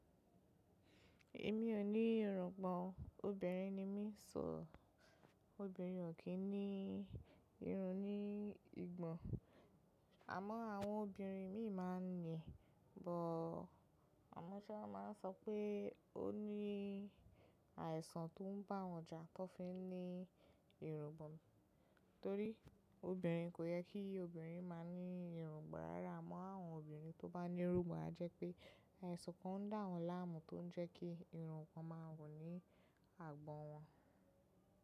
Èmi ò ní irùngbọ̀n o, obìnrin ni mí so obìnrin ò kí ń ní irun ní ìgbọ̀n. Àmọ́ àwọn obìnrin míì máa ń ní, bọ̀ọ̀ ọmọ Shola máa ń sọ pé ó ní àìsàn tó ń bá wọn jà tó fi ń ní irun gbọ̀n. Torí obìnrin kò yẹ kí obìnrin máa ní irun gbọ̀n rárá. Àmọ́ àwọn obìnrin tó bá ní irun gbọ̀n a jẹ́ pé àìsàn kan ń dà wọ́n láàmú tó ń jẹ́ kí irun gbọ̀n má wù ní àgbọ̀n wọn.